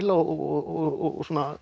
og